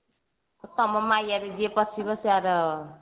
ତମ ମାୟାରେ ଯିଏ ପଶିବ ତାର